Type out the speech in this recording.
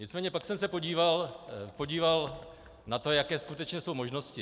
Nicméně pak jsem se podíval na to, jaké skutečně jsou možnosti.